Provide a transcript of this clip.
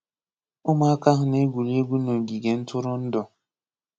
Ụmụaka ahu na-egwuri egwu n’ọgige ntụrụndụ.